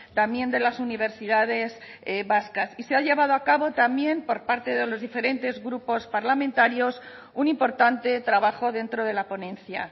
también de las universidades vascas y se ha llevado a cabo también por parte de los diferentes grupos parlamentarios un importante trabajo dentro de la ponencia